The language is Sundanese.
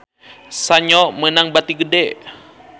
Sanyo meunang bati gede